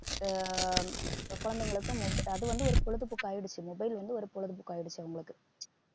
ஆஹ் அஹ் குழந்தைகளுக்கும் mobi~ அது வந்து ஒரு பொழுதுபோக்கு ஆயிடுச்சு mobile வந்து ஒரு பொழுதுபோக்கு ஆயிடுச்சு அவங்களுக்கு